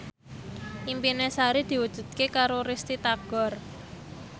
impine Sari diwujudke karo Risty Tagor